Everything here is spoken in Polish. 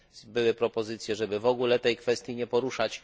Były propozycje, żeby w ogóle tej kwestii nie poruszać.